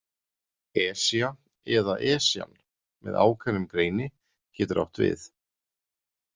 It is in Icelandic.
Esja eða Esjan með ákveðnum greini getur átt við.